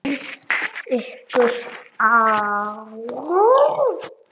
Hvernig lýst ykkur á?